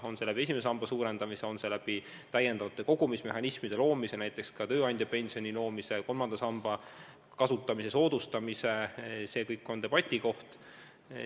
On see võimalik esimese samba suurendamise abil, on see võimalik täiendavate kogumismehhanismide loomise abil, näiteks soodustades tööandja pensioni maksmist või kolmanda samba raha kasutamist – see kõik on debati teema.